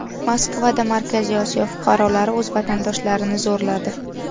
Moskvada Markaziy Osiyo fuqarolari o‘z vatandoshlarini zo‘rladi.